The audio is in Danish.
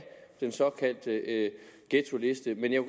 den såkaldte ghettoliste men jeg